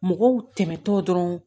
Mɔgɔw tɛmɛtɔ dɔrɔn